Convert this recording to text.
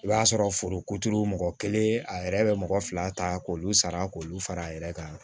I b'a sɔrɔ foro ko turu mɔgɔ kelen a yɛrɛ bɛ mɔgɔ fila ta k'olu sara k'olu fara a yɛrɛ kan